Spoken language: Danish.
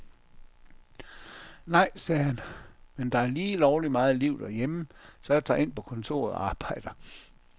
Nej, sagde han, men der er lige lovlig meget liv derhjemme, så jeg tager ind på kontoret og arbejder.